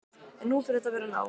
En nú fer þetta að verða nóg.